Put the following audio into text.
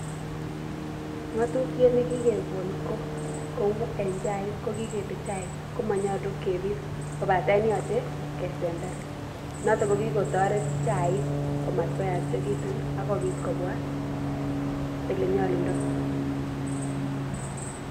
Ng'otutiet nekokekon ko kou en chaik ko kikele chaik komonyolu kebit kobaten yoche kesember noton kokikotoret chaik komatkoyachekitun akobit kobwa elenyolundoo